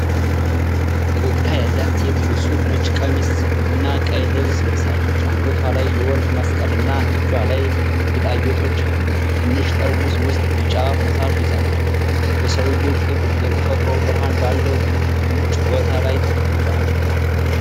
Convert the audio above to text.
ፈገግታ ያላት ሴት ንጹህ ነጭ ቀሚስ እና ቀይ ልብስ ለብሳለች። አንገቷ ላይ የወርቅ መስቀል እና እጇ ላይ ጌጣጌጦች አሏት። በትንሽ ጠርሙስ ውስጥ ቢጫ ፈሳሽ ይዛለች። የሰውየው ቅጥ የተፈጥሮ ብርሃን ባለው ውጪ ቦታ ላይ ተቀምጧል።